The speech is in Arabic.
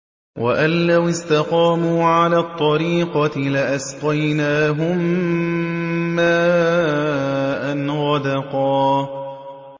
وَأَن لَّوِ اسْتَقَامُوا عَلَى الطَّرِيقَةِ لَأَسْقَيْنَاهُم مَّاءً غَدَقًا